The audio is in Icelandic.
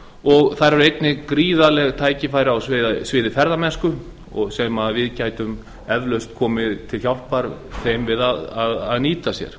og þar eru gríðarleg tækifæri á sviði ferðamennsku sem við gætum eflaust komið þeim til hjálpar við að nýta sér